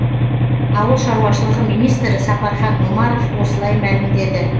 ауыл шаруашылығы министрі сапархан омаров осылай мәлімдеді